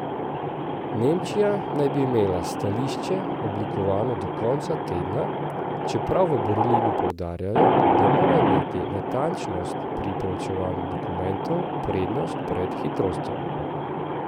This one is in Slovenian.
Nemčija naj bi imela stališče oblikovano do konca tedna, čeprav v Berlinu poudarjajo, da mora imeti natančnost pri preučevanju dokumentov prednost pred hitrostjo.